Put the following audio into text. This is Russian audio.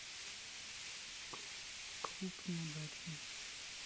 клуб неудачниц